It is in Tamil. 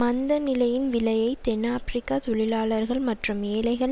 மந்த நிலையின் விலையை தென் ஆபிரிக்க தொழிலாளர்கள் மற்றும் ஏழைகள்